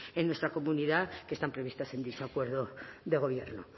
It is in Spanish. en nuestra comunidad que están previstas en dicho acuerdo de gobierno